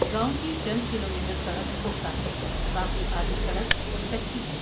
گاؤں کی چند کلومیٹر سڑک پختہ ہے باقی آدھی سڑک کچی ہے ۔